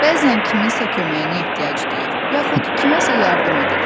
Bəzən kiminsə köməyinə ehtiyac duyur, yaxud kiməsə yardım edir.